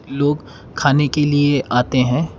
लोग खाने के लिए आते हैं।